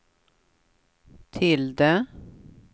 tilde